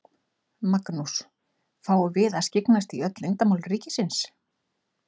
Magnús: Fáum við að skyggnast í öll leyndarmál ríkisins?